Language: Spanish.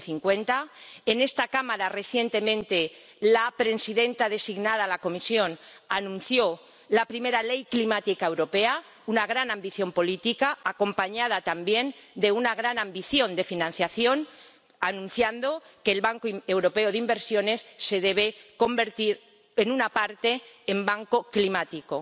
2050. En esta Cámara, recientemente, la presidenta designada de la Comisión anunció la primera ley climática europea, una gran ambición política, acompañada también de una gran ambición de financiación, señalando que el Banco Europeo de Inversiones se debe convertir en parte en banco climático.